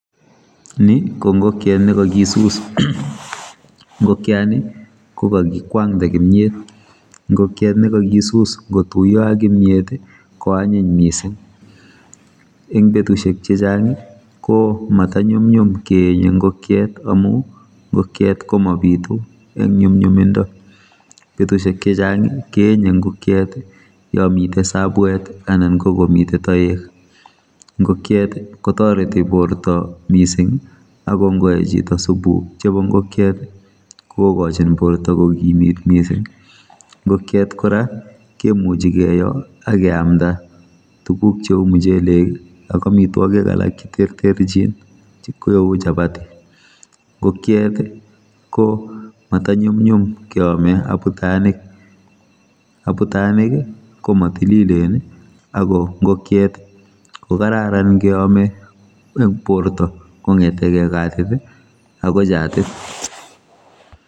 Ni kongokiet ne kakisus ngokiani kokakikwangde kimyet ngokiet nekakisus ngotuiyo ak kimyet[i] koanyiny mising eng betusiek chechang komatanyumnyum keenye ngokiet amu ngokiet komabitu eng nyumnyumindo betusiek chechang keenye ngokiet yomite sabwet anan kongomite toek ngokiet kotoreti borto mising akongoei chito supuk chebo ngokiet kokochin borto kokimit mising ngokiet kora kemuchi keyoi akeamda tuguk cheu muchelek ak amitwogik alak che terterchin cheu chapati ngokiet komatanyumnyum keome abutanik, Abutanik komo tililen ako ngokiet kokararan keome borto kongetekei katit akoi chatit.